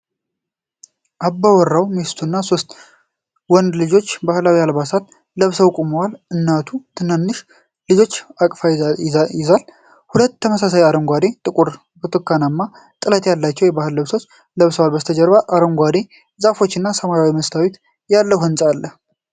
አባወራው፣ ሚስቱ እና ሶስት ወንዶች ልጆቻቸው ባህላዊ አልባሳት ለብሰው ቆመዋል። አባቱ ታናሹን ልጅ በእቅፉ ይዟል፤ ሁሉም ተመሳሳይ አረንጓዴ፣ ጥቁር እና ብርቱካናማ ጥለት ያላቸው የባህል ልብሶች ለብሰዋል። በስተጀርባ አረንጓዴ ዛፎች እና ሰማያዊ መስታወት ያለው ህንጻ አለ።